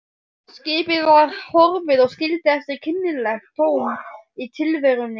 Skipið var horfið og skildi eftir kynlegt tóm í tilverunni.